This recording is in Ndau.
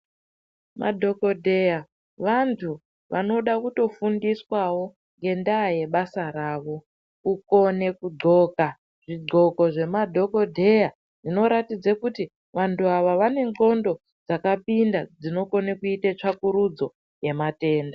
Madhogodheya vantu vanoda kutofundiswavo ngendaa yebasa ravo. Kukone kudhloka zvidhloko zvemadhogodheya zvinoratidze kuti vantu ava vane ndxondo dzakapinda dzinokone kuite tsvakurudzo yematenda.